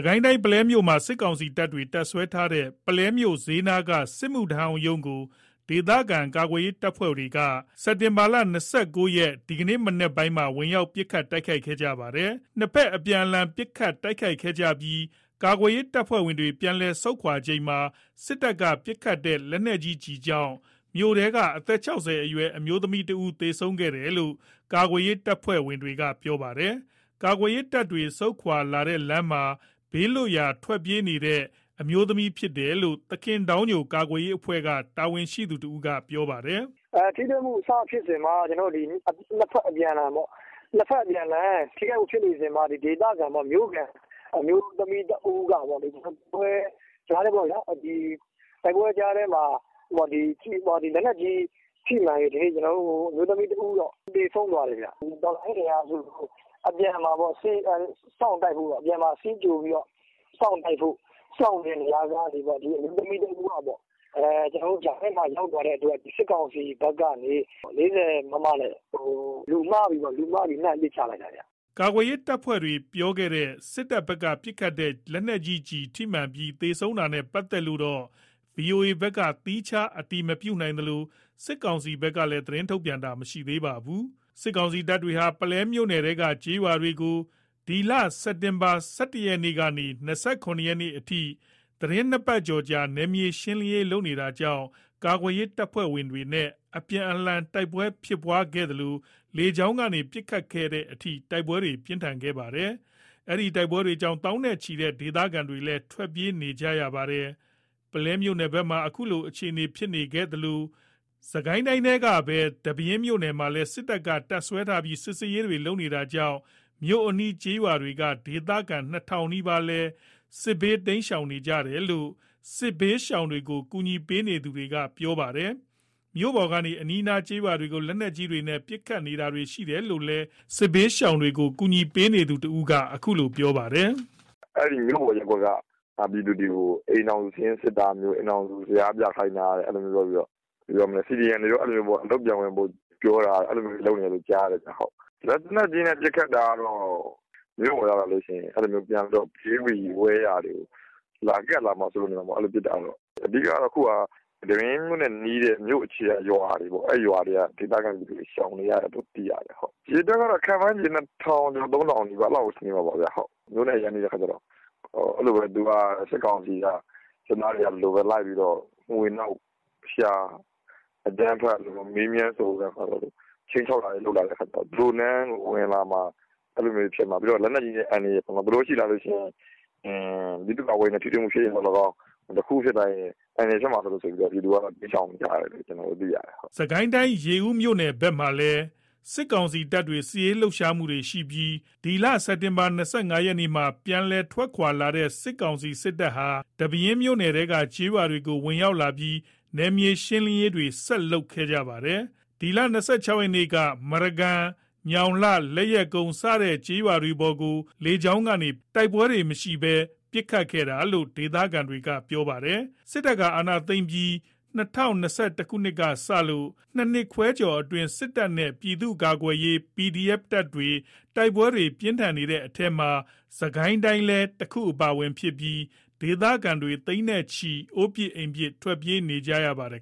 ကိုင်းတိုင်း ပုလဲမြို့မှာ စစ်တပ်တွေ တပ်စွဲထားတဲ့ ပုလဲမြို့ဈေးနားက စစ်မှုထမ်းဟောင်းရုံးကို ဒေသခံကာကွယ်ရေး တပ်ဖွဲ့တွေက ဒီနေ့ စက်တင်ဘာ ၂၉ ရက် မနက်ပိုင်းမှာ ဝင်ရောက် ပစ်ခတ်တိုက်ခိုက်ခဲ့ပါတယ်။ ၂ ဘက်အပြန်အလှန် ပစ်ခတ်ခဲ့ကြပြီး ကာကွယ်ရေး တပ်ဖွဲ့တွေ ပြန်လည်ဆုတ်ခွါချိန်မှာ စစ်တပ်က ပစ်ခတ်တဲ့ လက်နက်ကြီးကြောင့် မြို့ထဲက အသက် ၆၀ အရွယ် အမျိုးသမီး ၁ ဦး သေဆုံးခဲ့တယ်လို့ ကာကွယ်ရေး တပ်ဖွဲ့တွေ ဘက်က ပြောပါတယ်။ ကာကွယ်ရေးတပ်တွေ ဆုတ်ခွာတဲ့ လမ်းမှာ ဘေးလွတ်ရာပြေးနေတဲ့ အမျိုးသမီးဖြစ်တယ်လို့ သခင်ဒေါင်းညို ကာကွယ်ရေး အဖွဲ့က တာဝန်ရှိသူက ပြောပါတယ်။ “ထိတွေ့မှု စဖြစ်စဉ်မှာ ၂ ဘက်အပြန်အလှန် ပစ်ခတ်မှုဖြစ်နေစဉ်မှာ ဒေသခံမြို့ခံ အမျိုးသမီး ၁ ဦးကပေါ့လေ တိုက်ပွဲကြားထဲမှာ လက်နက်ကြီးထိမှန်ပြီး အမျိုးသမီး ၁ ဦးတော့ သေဆုံးသွားတယ်။ တော်လှန်ရေး အင်အားစုကို အပြန်မှာ စောင့်တိုက်ဖို့ စီးကြိုပြီး စောင့်တိုက်ဖို့လုပ်နေတဲ့နေရာမှာ အမျိုးသမီး တဦးက ကြားထဲမှာ ရောက်သွားတဲ့အတွက် စစ်ကောင်စီဘက်ကနေ ၄၀ မမ နဲ့ လူမှားပြီး ပစ်လိုက်တာပေါ့။” ကာကွယ်ရေး တပ်ဖွဲ့တွေပြောတဲ့ စစ်တပ်ဘက်က ပစ်ခတ်တဲ့ လက်နက်ကြီး ထိမှန်ပြီး သေဆုံးတာနဲ့ ပတ်သက်လို့တော့ ဗွီအိုအေ ဘက်က သီးခြား အတည်မပြုနိုင်သလို စစ်ကောင်စီဘက်ကလည်း သတင်း ထုတ်ပြန်တာ မရှိသေးပါဘူး။ စစ်တပ်ဟာ ပုလဲမြို့နယ်ထဲက ကျေးရွာတွေကို စက်တင်ဘာ ၁၁ ရက်ကနေ စက်တင်ဘာ ၂၇ ရက်အထိ သီတင်း ၂ ပတ်ကျော် နယ်မြေရှင်းလင်းရေးလုပ်နေတာကြောင့် ကာကွယ်ရေး တပ်ဖွဲ့တွေနဲ့ အပြန်အလှန် တိုက်ပွဲတွေဖြစ်နေသလို လေကြောင်းကနေ ပစ်ခတ်တဲ့အထိ ပြင်းထန်ခဲ့ပါတယ်။ တိုက်ပွဲတွေကြောင့် သောင်းနဲ့ချီတဲ့ ဒေသခံတွေလည်း ထွက်ပြေးနေကြရပါတယ်။ ပုလဲမြို့ဘက်မှာ အခုလို အခြေအနေဖြစ်နေသလို စစ်ကိုင်းတိုင်းထဲကပဲ ဒီပဲယင်းမြို့ပေါ်မှာလည်း စစ်တပ်က တပ်စွဲထားပြီး စစ်ဆေးတာတွေ လုပ်နေတာကြောင့် မြို့အနီး ကျေးရွာက ဒေသခံ ၂ ထောင်နီးပါးလည်း တိမ်းရှောင်နေရတယ်လို့ စစ်ဘေးရှောင် ကူညီပေးနေသူတွေက ပြောပါတယ်။ မြို့ပေါ်ကနေ အနီးနား ကျေးရွာတွေကို လက်နက်ကြီးတွေနဲ့ ပစ်ခတ်တာတွေ ရှိတယ်လို့လည်း စစ်ဘေးရှောင် ကူညီပေးနေသူ တဦးက အခုလို ပြောပါတယ်။ “မြို့ပေါ်ရပ်ကွက်က ပြည်သူတွေကို အိမ်ထောင်စု စာရင်းစစ်တာ အိမ်ထောင်စု ဇယားပြခိုင်းတာ အဲ့လိုမျိုးလုပ်ပြီးတော့ CDM ဆိုရင် CDM တွေ အလုပ်ပြန်ဝင်ဖို့ ပြောတာ အဲ့ဒါတွေလုပ်နေတယ်လို့တော့ ကြားတယ်။ လက်နက်ကြီးနဲ့ ပစ်ခတ်တာကတော့ မြို့ပေါ်ရောက်လာလို့ရှိရင် သူတို့ ဘေးဘီ ဝဲယာတွေကို ကပ်လာမှာ စိုးရိမ်လို့နေမှာပေါ့။ အဲ့လိုပစ်တာ။ အဓိက ကတော့ ဒီပဲယင်းမြို့နဲ့ နီးတဲ့ မြို့ အခြေကရွာတွေပေါ့။ အဲ့ရွာတွေက ဒေသခံပြည်သူတွေရှောင်နေရတယ်။ အရေအတွက်က ၂ ထောင်ကျော် ၃ ထောင်နီးပါး အဲ့လောက်တော့ ရှိမှာပေါ့။ မြို့နဲ့အရမ်းနီးတော့ စစ်ကောင်စီက စစ်သားတွေက လိုက်ပြီးတော့ မွှေနှောက် ရှာ အကြမ်းဖက် မေးမြန်းစုံစမ်း ချိန်းခြောက်တာတွေ လုပ်လာတဲ့အခါကျတော့ သူတို့ထဲဝင်လာမှာ ပြီးတော့ လက်နက်ကြီး အန္တရာယ် ပြီးတော့ သူတို့ရှိလာရင် ဒေသခံကာကွယ်ရေး တပ်ဖွဲ့တွေနဲ့ ထိတွေ့မှု ဖြစ်လာရင်သော်လည်း ကောင်း တခုခုဖြစ်လာရင် အန္တရယ် ဖြစ်မှာစိုးလို့ ပြည်သူက တိမ်းရှောင်နေကြတယ်။” ရေဦးမြို့ဘက် စစ်ရေးလှုပ်ရှားပြီး စက်တင်ဘာ ၂၅ ရက်မှာ ပြန်လည် ထွက်ခွါလာတဲ့ စစ်တပ်ဟာ ဒီပဲယင်းမြို့နယ်ထဲက ကျေးရွာတွေထဲကို ဝင်ရောက်လာပြီး နယ်မြေရှင်းလင်းရေးတွေဆက်လုပ်နေတာပါ။ ၂၆ ရက်နေ့က မရကန် ညောင်လှ လက်ယက်ကုန်း စတဲ့ကျေးရွာတွေပေါ်ကို လေကြောင်းကနေ ပစ်ခတ်တိုက်ခိုက်ခဲ့ပါတယ်။ တိုက်ပွဲတွေ မရှိဘဲ ပစ်ခတ်တာလို့ ဒေသခံတွေက ပြောပါတယ်။ စစ်တပ်က အာဏာသိမ်းပြီးတဲ့ ၂၀၂၁ ခုနှစ်ကစလို့ ၂ နှစ်ခွဲကျော်အတွင်း စစ်တပ်နဲ့ ပြည်သူ့ကာကွယ်ရေးတပ်တွေ တိုက်ပွဲတွေ ပြင်းထန်နေတဲ့ထဲမှာ စစ်ကိုင်းတိုင်းလည်း တခုအပါအဝင်ဖြစ်ပြီး ဒေသခံ သိန်းနဲ့ချီ အိုးအိမ်ပစ် ထွက်ပြေးနေကြရပါတယ်